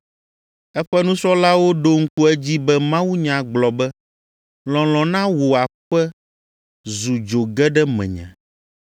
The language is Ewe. Eƒe nusrɔ̃lawo ɖo ŋku edzi be mawunya gblɔ be, “Lɔlɔ̃ na wò aƒe zu dzo ge ɖe menye.”